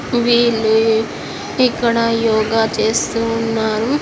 వీళ్ళు ఇక్కడ యోగా చేస్తూ ఉన్నారు.